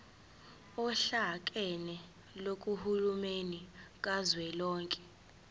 ohlakeni lukahulumeni kazwelonke